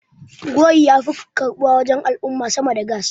gawayi ya fi karɓuwa a gurin al'umma sama da gas